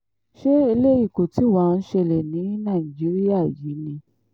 ṣé eléyìí kọ́ tí wàá ń ṣẹlẹ̀ ní nàìjíríà yìí ni